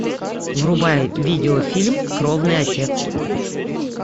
врубай видеофильм кровный отец